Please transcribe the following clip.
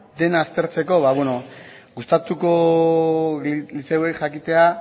dena aztertzeko ba bueno gustatuko litzaiguke jakitea